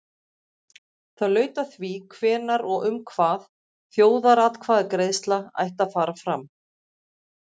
Það laut að því hvenær og um hvað þjóðaratkvæðagreiðsla ætti að fara fram.